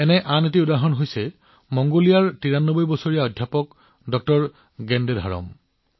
একেধৰণৰ উদাহৰণ হৈছে মংগোলিয়াৰ ৯৩ বছৰীয়া অধ্যাপক জে গেনধাৰামৰ